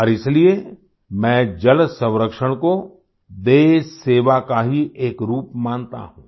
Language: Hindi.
और इसलिए मैं जल संरक्षण को देश सेवा का ही एक रूप मानता हूँ